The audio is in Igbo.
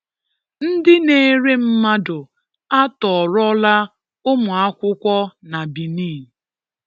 Ndị̀ na-èré mmadụ̀ atọ́ọrọ̀là ụmụ̀àkụ̀kwọ̀ na Bẹ̀nìn.